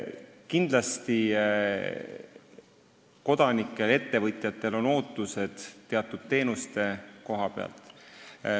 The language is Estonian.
Kindlasti on kodanikel ja ettevõtjatel ootused teatud teenuste koha pealt.